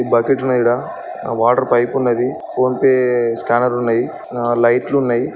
Bucket ఉన్నది ఈడ water pipe ఉన్నది ఫోన్ పే స్కానర్ లు ఉన్నది లైట్లు ఉన్నయి.